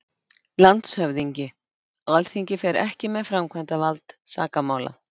LANDSHÖFÐINGI: Alþingi fer ekki með framkvæmd sakamála.